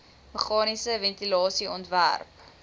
meganiese ventilasie ontwerp